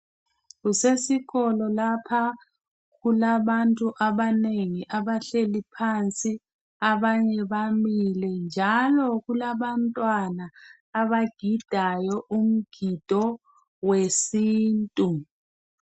Kusesikolo lapha kulabantu abanengi abahleli phansi abanye bamile njalo kulabantwana abagidayi umgido wesintu.